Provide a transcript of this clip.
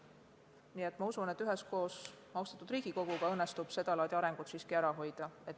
Nii et ma usun, et üheskoos austatud Riigikoguga õnnestub sedalaadi areng siiski ära hoida.